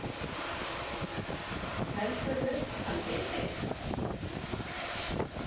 Heldurðu að hann viti eitthvað?